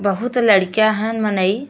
बहुत लड़कियां हन मनई।